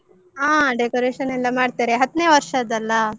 ಹ decoration ಎಲ್ಲ ಮಾಡ್ತಾರೆ, ಹತ್ನೇ ವರ್ಷದ್ದಲ್ಲಾ?